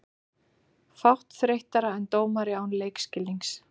Fátt þreyttara en dómari án leikskilnings.